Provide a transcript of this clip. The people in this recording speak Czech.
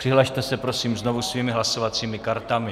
Přihlaste se prosím znovu svými hlasovacími kartami.